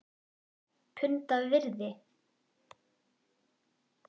Punda virði??!?